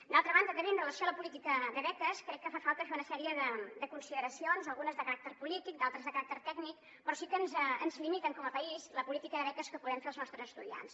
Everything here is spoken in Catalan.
d’altra banda també amb relació a la política de beques crec que fa falta fer una sèrie de consideracions algunes de caràcter polític d’altres de caràcter tècnic que sí que ens limiten com a país la política de beques que podem fer als nostres estu·diants